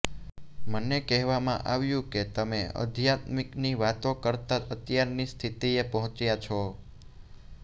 મને કહેવામાં આવ્યું કે તમે અધ્યાત્મની વાતો કરતાં અત્યારની સ્થિતિએ પહોંચ્યાં છો